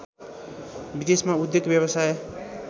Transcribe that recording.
विदेशमा उद्योग व्यवसाय